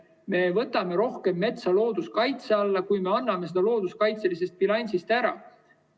Me võtame rohkem metsa looduskaitse alla, kui me anname seda looduskaitselisest bilansist ära.